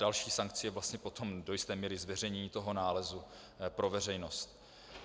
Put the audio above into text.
Další sankcí je vlastně potom do jisté míry zveřejnění toho nálezu pro veřejnost.